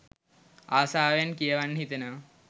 අසාවෙන් කියවන්න හිතෙනවා.